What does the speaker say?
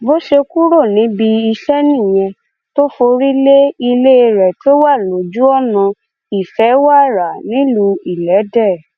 bó ṣe kúrò níbi iṣẹ nìyẹn tó forí lé ilé rẹ tó wà lójúọnà ìfẹwára nílùú ìlédè